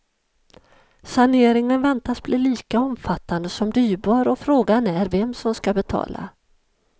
Saneringen väntas bli lika omfattande som dyrbar, och frågan är vem som skall betala.